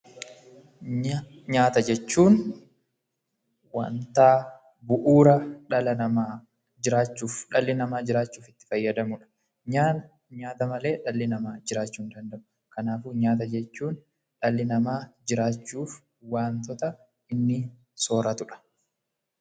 Nyaata jechuun wanta bu'uura jireenya dhala namaa ta'ee, jiraachuuf fayyadamu jechuudha. Dhalli namaa nyaata malee jiraachuu hin danda'u. Kanaafuu, nyaata jechuun dhalli namaa jiraachuudhaaf wantoota inni sooratudha.